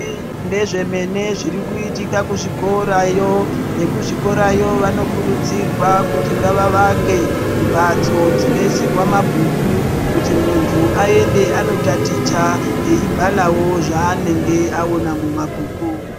Ndezve mene zviri kuitika ku chikorayo vekuzvi korayo vano kurudzirwa kuti ngava vake mbatso dzino isirwa mabhuku kuti muntu ayende ano taticha eyi bharawo zvaanenge aona mu mabhuku.